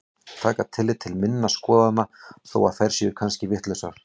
Taka tillit til minna skoðana þó að þær séu kannski vitlausar.